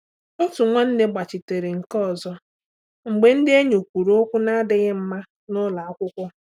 Otu nwanne gbachitere nke ọzọ mgbe ndị enyi kwuru okwu na-adịghị mma n’ụlọ akwụkwọ.